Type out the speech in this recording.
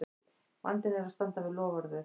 Vandinn er að standa við loforðið!